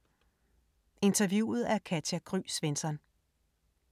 Interviewet af Katja Gry Svensson